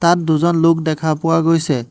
তাত দুজন লোক দেখা পোৱা গৈছে।